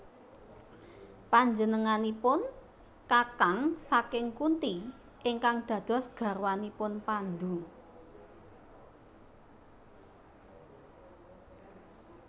Panjenenganipun kakang saking Kunti ingkang dados garwanipun Pandu